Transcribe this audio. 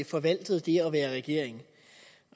forvaltede det at være i regering